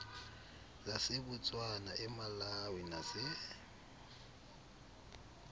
zasebotswana emalawi nase